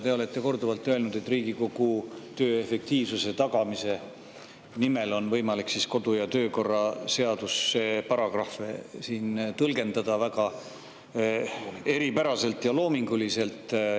Te olete korduvalt öelnud, et Riigikogu töö efektiivsuse tagamise nimel on võimalik kodu- ja töökorra seaduse paragrahve tõlgendada väga eripäraselt ja loominguliselt.